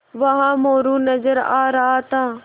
वहाँ मोरू नज़र आ रहा था